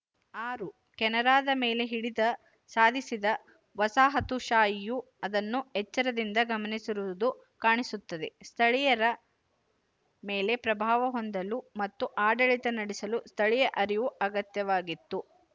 ಆರು ಕೆನರಾದ ಮೇಲೆ ಹಿಡಿತ ಸಾಧಿಸಿದ ವಸಾಹತುಶಾಹಿಯು ಅದನ್ನು ಎಚ್ಚರದಿಂದ ಗಮನಿಸಿರುವುದು ಕಾಣಿಸುತ್ತದೆ ಸ್ಥಳೀಯರ ಮೇಲೆ ಪ್ರಭಾವ ಹೊಂದಲು ಮತ್ತು ಆಡಳಿತ ನಡೆಸಲು ಸ್ಥಳೀಯ ಅರಿವು ಅಗತ್ಯವಾಗಿತ್ತು